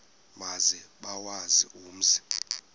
maze bawazi umzi